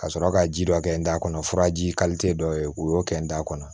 Ka sɔrɔ ka ji dɔ kɛ n da kɔnɔ furaji kalite dɔ ye u y'o kɛ n da kɔnɔ